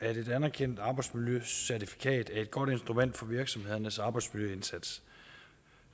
at et anerkendt arbejdsmiljøcertifikat er et godt instrument for virksomhedernes arbejdsmiljøindsats